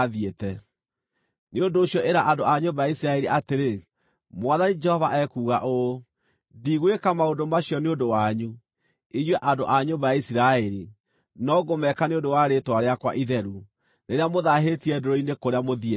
“Nĩ ũndũ ũcio ĩra andũ a nyũmba ya Isiraeli atĩrĩ, ‘Mwathani Jehova ekuuga ũũ: Ndigwĩka maũndũ macio nĩ ũndũ wanyu, inyuĩ andũ a nyũmba ya Isiraeli, no ngũmeeka nĩ ũndũ wa rĩĩtwa rĩakwa itheru, rĩrĩa mũthaahĩtie ndũrĩrĩ-inĩ kũrĩa mũthiĩte.